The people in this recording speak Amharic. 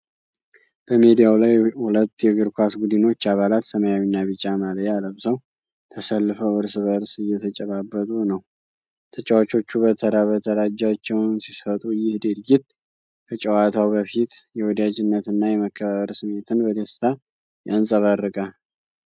በሜዳው ላይ ሁለት የእግር ኳስ ቡድኖች አባላት ሰማያዊና ቢጫ ማልያ ለብሰው ተሰልፈው እርስ በእርስ እየተጨባበጡ ነው። ተጫዋቾቹ በተራ በተራ እጃቸውን ሲሰጡ፣ ይህ ድርጊት ከጨዋታው በፊት የወዳጅነት እና የመከባበር ስሜትን በደስታ ያንጸባርቃል።